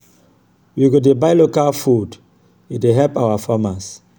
we go dey buy local food e dey help our farmers.